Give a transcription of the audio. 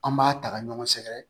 An b'a ta ka ɲɔgɔn sɛgɛrɛ